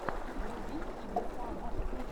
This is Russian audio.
вруби кибер панк